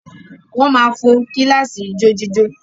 Wọ́n máa fo kíláàsì ijójíjó.